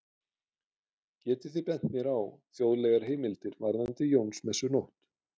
Getið þið bent mér á þjóðlegar heimildir varðandi Jónsmessunótt?